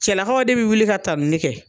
Cɛlakaw de bɛ wuli ka tanuni kɛ.